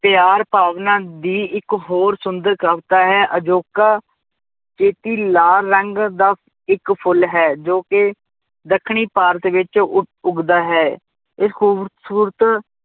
ਪਿਆਰ ਭਾਵਨਾ ਦੀ ਇੱਕ ਹੋਰ ਸੁੰਦਰ ਕਵਿਤਾ ਹੈ ਅਜੋਕਾ ਲਾਲ ਰੰਗ ਦਾ ਇੱਕ ਫੁੱਲ ਹੈ ਜੋ ਕਿ ਦੱਖਣੀ ਭਾਰਤ ਵਿੱਚ ਉੱਘ ਉੱਘਦਾ ਹੈ, ਇਸ ਖੂਬਸ਼ੂਰਤ